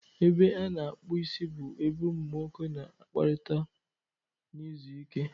Ebe a na-akpụ isi bụ ebe ụmụ nwoke na-akpakọrịta na izu ike.